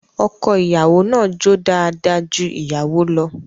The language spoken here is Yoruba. Ọko-ìyàwó náà jó dáadáa ju ìyàwó lọ